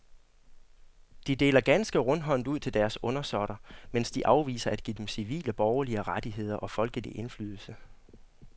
De deler ganske rundhåndet ud til deres undersåtter, mens de afviser at give dem civile borgerlige rettigheder og folkelig indflydelse.